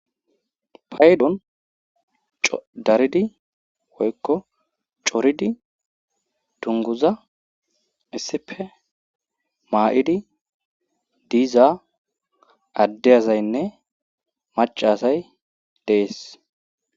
paydon daridi woykko coridi dunguza issipe maa7idi diiza addeyazaynne macasay dees